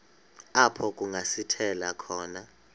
apho kungasithela khona